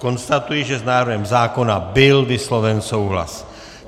Konstatuji, že s návrhem zákona byl vysloven souhlas.